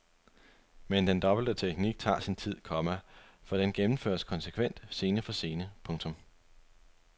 Men den dobbelte teknik tager sin tid, komma for den gennemføres konsekvent scene for scene. punktum